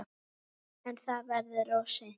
En verður það of seint?